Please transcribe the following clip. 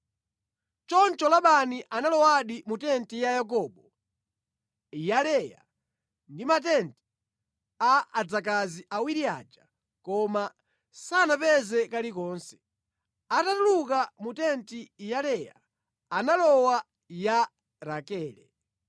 Choncho Labani analowadi mu tenti ya Yakobo, ya Leya ndi mʼmatenti a adzakazi awiri aja, koma sanapeze kalikonse. Atatuluka mu tenti ya Leya, analowa ya Rakele.